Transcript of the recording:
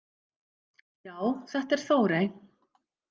Já, þetta er Þórey.